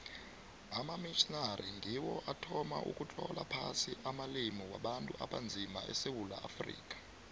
amamitjhnari ngiwo athoma ukutlola phasi amalimi wabantu abanzima esewula afrika